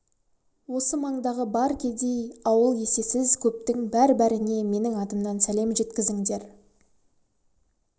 осы мандағы бар кедей ауыл есесіз көптің бәр-бәріне менің атымнан сәлем жеткізіндер